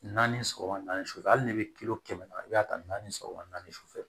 Naani sɔgɔma na sufɛ hali n'i bɛ kilo kɛmɛ naani i b'a ta naani sɔgɔma naani sufɛ